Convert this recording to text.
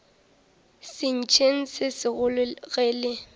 sentšeng se segolo ge le